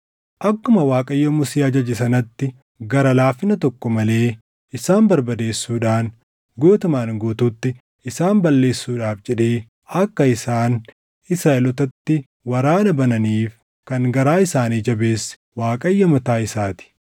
Akkuma Waaqayyo Musee ajaje sanatti gara laafina tokko malee isaan barbadeessuudhaan guutumaan guutuutti isaan balleessuudhaaf jedhee akka isaan Israaʼelootatti waraana bananiif kan garaa isaanii jabeesse Waaqayyo mataa isaa ti.